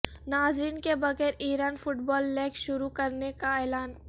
ناظرین کے بغیر ایران فٹ بال لیگ شروع کرنے کا اعلان